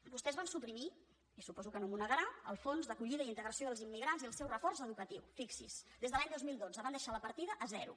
vostès van suprimir i suposo que no m’ho negarà el fons d’acollida i integració dels immigrants i el seu reforç educatiu fixi s’hi des de l’any dos mil dotze van deixar la partida a zero